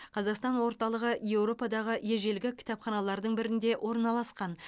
қазақстан орталығы еуропадағы ежелгі кітапханалардың бірінде орналасқан